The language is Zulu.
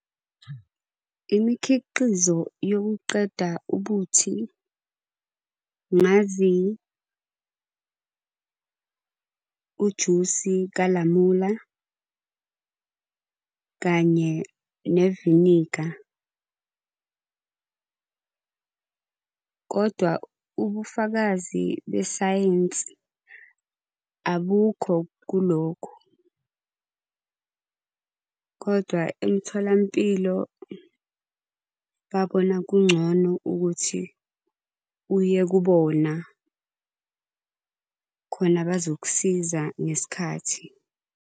Imikhiqizo yokuqeda ubuthi. Ngazi ujusi kalamula, kanye neviniga. Kodwa ubufakazi besayensi abukho kulokho. Kodwa emtholampilo babona kungcono ukuthi uyekubona, khona bazokusiza ngesikhathi.